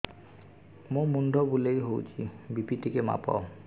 ମୋ ମୁଣ୍ଡ ବୁଲେଇ ହଉଚି ବି.ପି ଟିକେ ମାପ